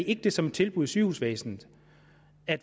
ikke som et tilbud i sygehusvæsenet